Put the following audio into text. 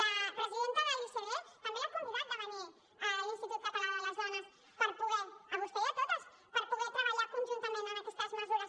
la presidenta de l’icd també l’ha convidat de venir a l’institut català de les dones a vostè i a totes per poder treballar conjuntament en aquestes mesures